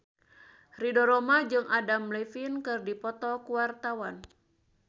Ridho Roma jeung Adam Levine keur dipoto ku wartawan